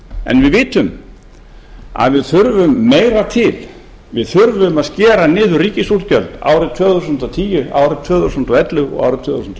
en við vitum að við þurfum meira til við þurfum að skera niður ríkisútgjöld árið tvö þúsund og tíu árið tvö þúsund og ellefu og árið tvö þúsund